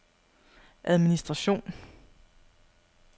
administration